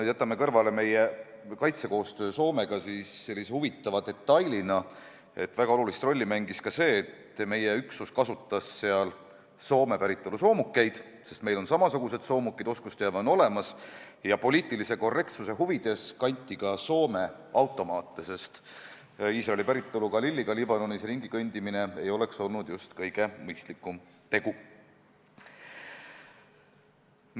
Kui jätta kõrvale meie kaitsekoostöö Soomega, siis huvitava detailina märgin, et väga suurt rolli mängis seegi, et meie üksus kasutas seal Soome päritolu soomukeid – meil on samasugused soomukid, seega oskusteave olemas – ja poliitilise korrektsuse huvides kanti ka Soome automaate, sest Iisraeli päritolu Galiliga Liibanonis ringikõndimine ei oleks olnud kõige mõistlikum tegu.